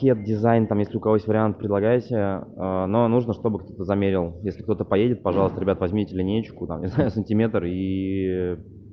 кед дизайн там если у кого есть вариант предлагаете но нужно чтобы кто-то замерил если кто-то поедет пожалуйста ребята возьмите линеечку там не знаю сантиметр ии